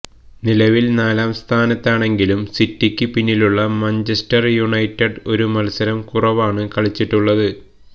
നിലവില് നാലാം സ്ഥാനത്താണെങ്കിലും സിറ്റിക്ക് പിന്നിലുള്ള മാഞ്ചസ്റ്റര് യുണൈറ്റഡ് ഒരു മത്സരം കുറവാണ് കളിച്ചിട്ടുള്ളത്